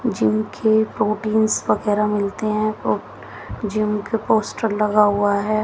Gym के proteins वगैरा मिलते हैं तो जिम के पोस्टर लगा हुआ है।